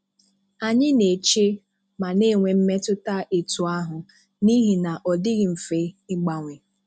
Anyị na-eche ma na-enwe mmetụta etu ahụ n'ihi na ọ dịghị mfe ịgbanwe.